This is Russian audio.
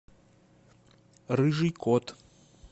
рыжий кот